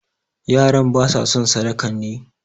Yaran ba sa son sadakan ne?